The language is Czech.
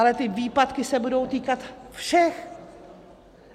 Ale ty výpadky se budou týkat všech.